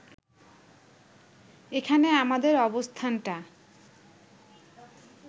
এখানে আমাদের অবস্থানটা